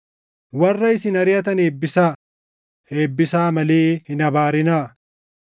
Warra isin ariʼatan eebbisaa; eebbisaa malee hin abaarinaa.